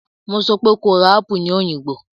Mo sọ pé kó ra apù ní Òyìngbò!